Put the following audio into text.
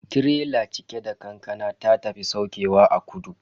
Tirela cike da kankana ta tafi saukewa a kudu.